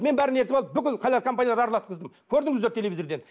мен бәрін ертіп алып бүкіл халал компанияларды аралатқыздым көрдіңіздер телевизордан